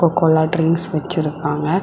Cola drinks வெச்சிருக்காங்க.